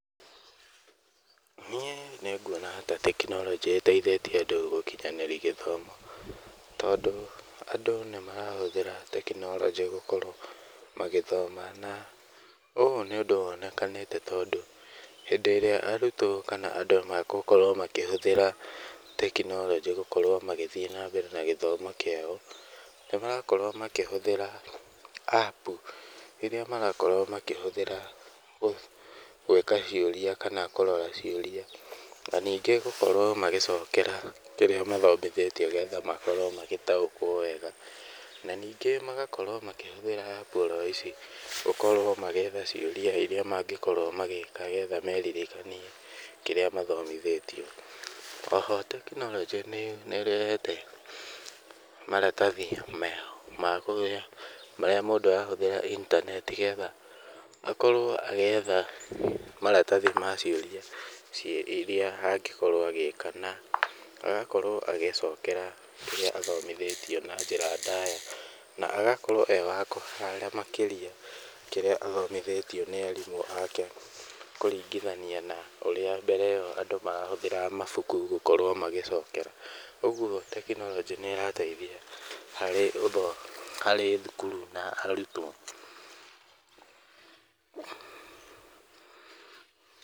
Niĩ nĩnguona ta tekinoronjĩ ĩteithĩtie andũ gũkinyanĩria gĩthomo tondũ andũ nĩ marahũthĩra tekinoronjĩ gũkorwo magĩthoma na ũũ nĩ ũndũ wonekanĩte tondũ hĩndĩ ĩrĩa arutwo kana andũ megũkorwo makĩhũthĩra tekinoronjĩ gũkorwo magĩthiĩ na mbere na gĩthomo kĩao, nĩ marakorwo makĩhũthĩra apu rĩrĩa marakorwo makĩhũthĩra gwĩka ciũria kana kũrora ciũria na ningĩ gũkorwo magĩcokera kĩrĩa mathomithĩtio nĩ getha makorwo magĩtaũkwo wega. Na ningĩ magakorwo makĩhũthĩra apu oro ici gũkorwo magĩetha ciũria iria mangĩkorwo magĩka nĩ getha meririkanie kĩrĩa mathomithĩtio. O ho tekinoronjĩ nĩ ĩrehete maratathi meho ma ũrĩa, marĩa mũndũ arahuthĩra intaneti nĩ getha akorwo agĩetha maratathi ma ciũria iria angĩkorwo agĩka na agakorwo agĩcokera kĩrĩa athomithĩtio na njĩra ndaya na agakorwo e wa kũhara makĩria kĩrĩa athomithĩtio nĩ arimũ ake kũringithania na ũrĩa mbere ĩo andũ marahũthagira mabuku gũkorwo magĩcokera. Ũguo tekinoronjĩ nĩ ĩrateithia harĩ thukuru na arutwo